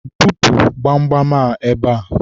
bupu gbamgbam a ebe a!